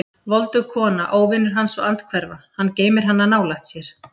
Voldug kona, óvinur hans og andhverfa: hann geymir hana nálægt sér.